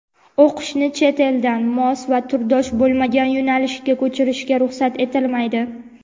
O‘qishni chet-eldan mos va turdosh bo‘lmagan yo‘nalishga ko‘chirishga ruxsat etilmaydi.